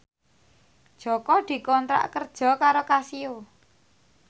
Jaka dikontrak kerja karo Casio